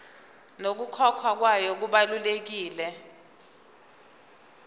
nokukhokhwa kwayo kubelula